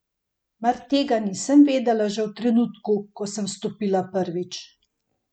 Mar tega nisem vedela že v trenutku, ko sem vstopila prvič?